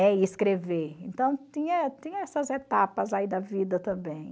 e escrever, então tinha tinha essas etapas aí da vida também.